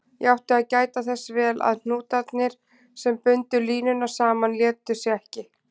Ég átti að gæta þess vel að hnútarnir, sem bundu línuna saman, létu sig ekki.